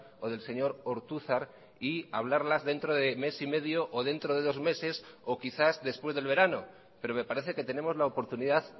o del señor ortuzar y hablarlas dentro de mes y medio o dentro de dos meses o quizás después del verano pero me parece que tenemos la oportunidad